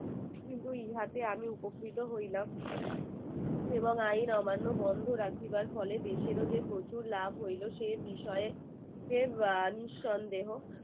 কিন্তু এই হাতে আমি উপকৃত হইলাম এবং আইন অমান্য বন্ধ রাখিবার ফলে দেশের ও যে প্রচুর লাভ হইলো সে বিষয়ে নিঃসন্দেহ